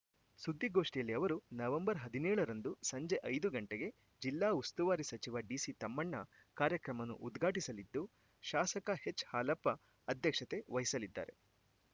ಸುದ್ದಿಗೋಷ್ಠಿಯಲ್ಲಿ ಅವರು ನವೆಂಬರ್ ಹದಿನೇಳರಂದು ಸಂಜೆ ಐದು ಗಂಟೆಗೆ ಜಿಲ್ಲಾ ಉಸ್ತುವಾರಿ ಸಚಿವ ಡಿಸಿ ತಮ್ಮಣ್ಣ ಕಾರ್ಯಕ್ರಮವನ್ನು ಉದ್ಘಾಟಿಸಲಿದ್ದು ಶಾಸಕ ಎಚ್‌ಹಾಲಪ್ಪ ಅಧ್ಯಕ್ಷತೆ ವಹಿಸಲಿದ್ದಾರೆ